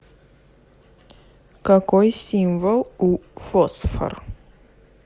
какой символ у фосфор